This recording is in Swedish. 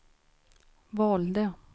valde